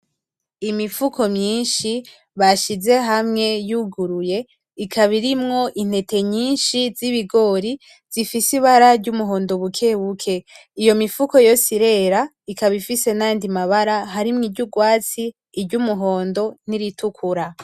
Imifuko myinshi bashize hamwe yuguruye, ikabirimwo intete nyinshi z’ibigori zifise ibara ry’umuhondo bukebuke. Iyo mifuko yose irera ikaba ifise nayandi mabara harimwo iry'ugwatsi, iry'umuhondo, n’iritukura.